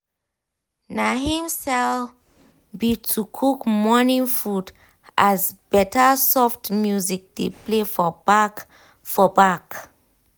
na him style be to cook morning food as better soft music dey play for back. for back.